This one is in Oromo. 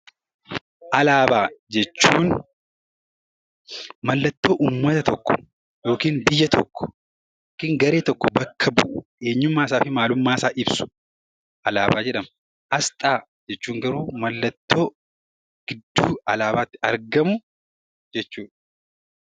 Alaabaa jechuun mallattoo ummata tokko yookiin biyya tokko yookiin garee tokko bu'u, eenyummaa isaa fi maalummaa isaa ibsu, alaabaa jedhama. Asxaa jechuun garuu mallattoo gidduu alaabaatti argamu jechuu dha.